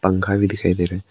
पंखा भी दिखाई दे रहे हैं।